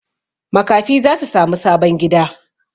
Makafi za su sami sabon gida.